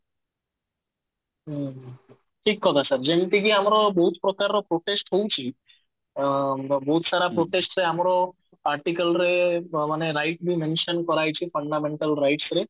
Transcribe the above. ହୁଁ ଠିକ କଥା sir ଯେମତି କି ଆମର ବହୁତ ପ୍ରକାର ର protest ହଉଛି ଅ ବହୁତ ସାରା protest ରେ ଆମର article ରେ ମାନେ rights ବି mention କରାହେଇଛି fundamental rights ରେ